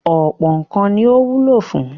Ọ̀pọ̀ nǹkan ni ó wúlò fún.